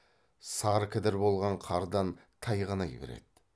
сары кідір болған қардан тайғанай береді